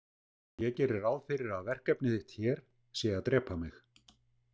Ég geri ráð fyrir að verkefni þitt hér sé að drepa mig.